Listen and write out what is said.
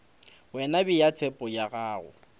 wena bea tshepo ya gago